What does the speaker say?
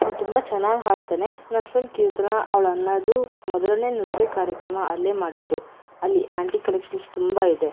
ಅವ್ನ್ ತುಂಬ ಚೆನ್ನಾಗಿ ಹಾಡ್ತಾನೆ ನನ್ ಫ್ರೆಂಡ್ ಕೀರ್ತನ ಅವ್ಳಣ್ಣದು ಮೊದಲನೆ ನೃತ್ಯ ಕಾರ್ಯಕ್ರಮ ಅಲ್ಲೇ ಮಾಡಿದ್ದು ಅಲ್ಲಿ ಆಂಟಿಕ್ ಕಲೆಕ್ಷನ್ಸ್ ತುಂಬಾ ಇದೆ.